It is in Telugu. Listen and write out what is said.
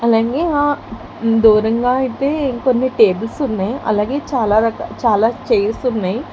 అలాంగే ఆ దూరంగా ఐతే ఇంకొన్ని టేబుల్స్ ఉన్నాయి అలాగే చాలా చైర్స్ ఉన్నాయి.